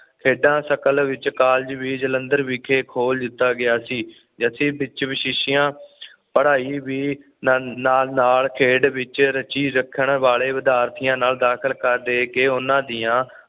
ਖੇਡਾਂ ਸ਼ਕਲ ਵਿੱਚ ਕਾਲਜ਼ ਵੀ ਜਲੰਧਰ ਵਿਖੇ ਖੋਲ ਦਿੱਤਾ ਗਿਆ ਸੀ ਜੱਸੀ ਵਿੱਚ ਵਿਸ਼ੇਸ਼ਯਾ ਪੜਾਈ ਵੀ ਨਾਲ ਨਾਲ ਖੇਡ ਵਿੱਚ ਰੁਚੀ ਰੱਖਣ ਵਾਲੇ ਵਿਦਿਆਰਥੀਆਂ ਨਾਲ ਰੱਖ ਰਾਖਾ ਦੇ ਕੇ ਉਹਨਾਂ ਦੀਆਂ